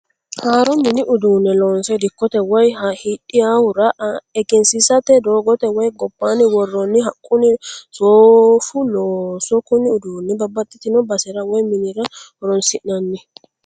Haaro mini uduune loonse dikote woyi hidhaahura eggensiisate doogote woyi gobanni woroonni haqunna soofu looso, kuni uduunni babaxitino basera woyi minira horonsinanni